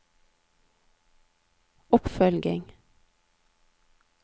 oppfølging